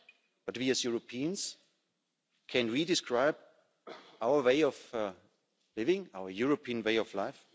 But we, as Europeans can we describe our way of living, our European way of life?